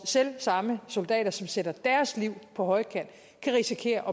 selv samme soldater som sætter deres liv på højkant kan risikere